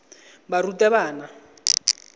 barutabana